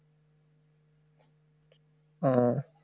অ